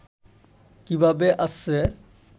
কিভাবে আসছে